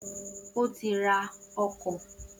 O ti ra ọkọ ilẹ na